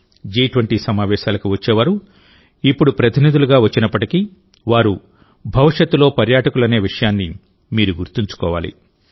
జి20 సమావేశాలకు వచ్చేవారు ఇప్పుడు ప్రతినిధులుగా వచ్చినప్పటికీ వారు భవిష్యత్తులో పర్యాటకులనే విషయాన్ని మీరు గుర్తుంచుకోవాలి